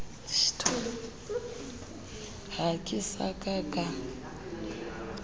ha ke sa ka ka